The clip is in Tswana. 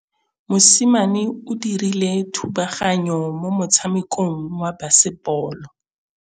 Mosimane o dirile thubaganyô mo motshamekong wa basebôlô.